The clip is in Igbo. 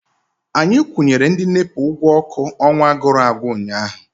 Anyị kwụnyere ndị NEPA ụgwọ ọkụ ọnwa gụrụ agwụ ụnyaahụ.